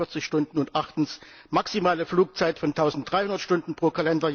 auf 48 Stunden. Und achtens Die maximale Flugzeit von 1300 Stunden pro